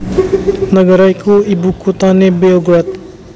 Nagara iki ibukuthané Beograd